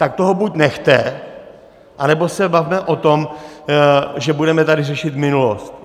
Tak toho buď nechte, anebo se bavme o tom, že budeme tady řešit minulost.